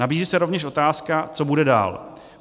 Nabízí se rovněž otázka, co bude dál.